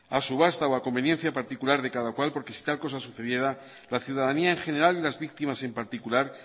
a subasta o a conveniencia particular de cada cual porque si tal cosa sucediera la ciudadanía en general y las víctimas en particular